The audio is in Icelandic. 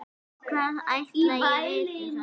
Hvað ætli ég viti það.